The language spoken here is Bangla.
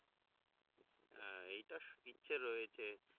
হ্যাঁ এইটার ইচ্ছে রয়েছে